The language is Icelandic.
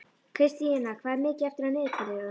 Kristína, hvað er mikið eftir af niðurteljaranum?